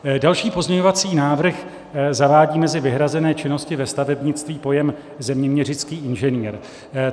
Další pozměňovací návrh zavádí mezi vyhrazené činnosti ve stavebnictví pojem "zeměměřický inženýr".